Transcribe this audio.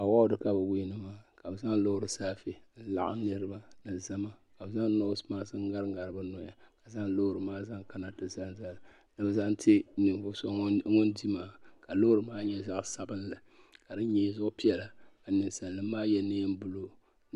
Awɔdi ka bi wiini maa ka bi zaŋ loori saafe n laɣim niriba ni zama ka bi noosi maas n ŋari ŋari bi noya ka zaŋ loori maa zaŋ kana ti zaŋ zali ni bi zaŋ ti ninvuɣu so ŋun di maa ka loori maa nyɛ zaɣa sabinli ka di nyee zuɣu piɛlla ka ninsali nima maa yɛ niɛn buluu.